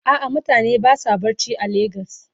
A'a mutane basa barci are lagos.